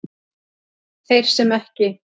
Þeir sem ekki